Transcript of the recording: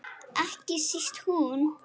Ekki síst hún.